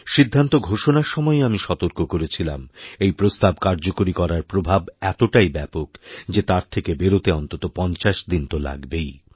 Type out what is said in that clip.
সিদ্ধান্ত ঘোষণার সময়ই আমি সতর্ক করেছিলাম এই প্রস্তাব কার্যকরী করার প্রভাব এতটাইব্যাপক যে তার থেকে বেরোতে অন্ততঃ ৫০ দিন তো লাগবেই